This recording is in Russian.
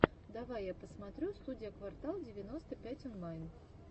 давай я посмотрю студия квартал девяносто пять онлайн